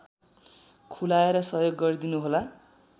खुलाएर सहयोग गरिदिनुहोला